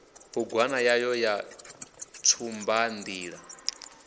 bugwana yayo ya tshumban ḓila